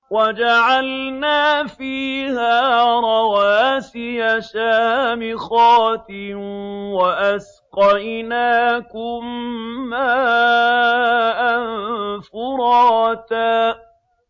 وَجَعَلْنَا فِيهَا رَوَاسِيَ شَامِخَاتٍ وَأَسْقَيْنَاكُم مَّاءً فُرَاتًا